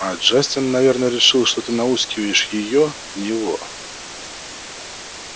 а джастин наверное решил что ты науськиваешь её на него